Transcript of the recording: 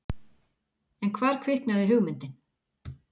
En hvar kviknaði hugmyndin?